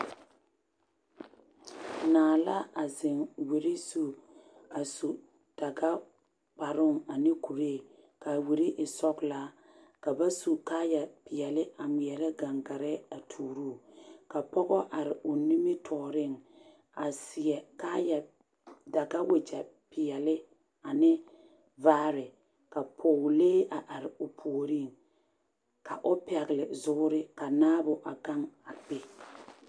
Naa la a zeŋ wiri zu a su dagakparoo ane kuree ka a wiri e sɔgelaa ka ba su kaaya peɛle a ŋmeɛrɛ gaŋgare a tuuro o ka pɔge are o nimitɔɔreŋ a seɛ kaayɛ daga wagya kaaya peɛle ane vaare ka pɔgelee a are o puoriŋ ka o pɛgle zoore ka naabo a gaŋ a be.